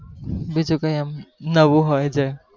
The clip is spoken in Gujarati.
બીજું કય આમ નવું હોય જે